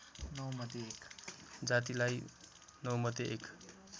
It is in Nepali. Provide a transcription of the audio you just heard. जातिलाई नौमध्ये एक